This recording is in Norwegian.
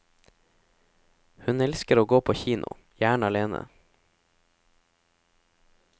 Hun elsker å gå på kino, gjerne alene.